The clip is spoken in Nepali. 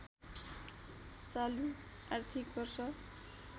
चालु आर्थिक वर्ष